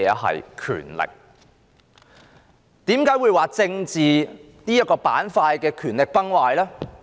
為何我說政治板塊的權力崩壞呢？